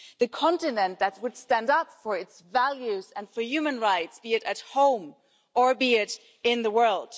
the continent that would stand up for its values and for human rights, be it at home or in the world.